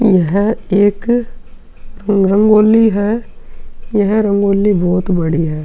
यह एक रंगोली है। यह रंगोली बहोत बड़ी है।